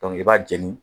i b'a jeni